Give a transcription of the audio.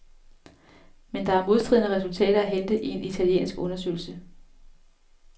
Men der er modstridende resultater at hente i en italiensk undersøgelse.